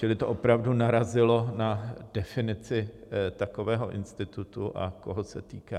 Čili to opravdu narazilo na definici takového institutu a koho se týká.